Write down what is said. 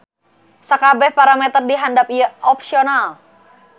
Sakabeh parameter di handap ieu opsional.